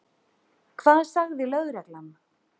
Hvað sagði lögreglan?